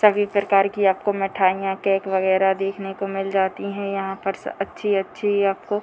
सभी प्रकार की आपको मिठाइयां केक वैगरह देखने को मिल जाती है यहाँ पर अच्छी-अच्छी आपको --